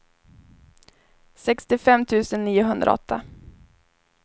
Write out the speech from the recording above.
sextiofem tusen niohundraåtta